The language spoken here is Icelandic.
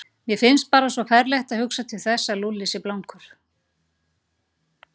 Mér finnst bara svo ferlegt að hugsa til þess að Lúlli sé blankur.